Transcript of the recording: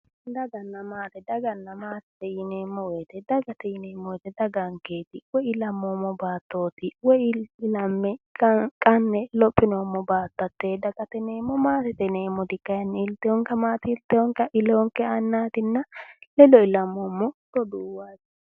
Daganna maate, daganna maate yinneemmo woyte daga, dagate yinneemmo woyte daganketi, woyi ilammommo baattoti, woyi ilame qane lophinoommo baatto hate dagate yinneemmo, maatete yinneemmoti kayinni ilite amati ilinonke annatinna ledo ilamommo roduuwati.